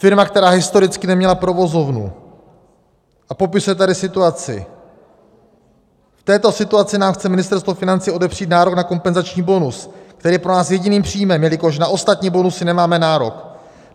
Firma, která historicky neměla provozovnu, a popisuje tady situaci: "V této situaci nám chce Ministerstvo financí odepřít nárok na kompenzační bonus, který je pro nás jediným příjmem, jelikož na ostatní bonusy nemáme nárok.